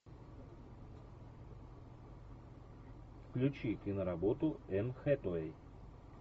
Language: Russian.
включи киноработу энн хэтэуэй